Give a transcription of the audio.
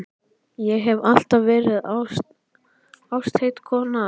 Ég hef alltaf verið ástheit kona.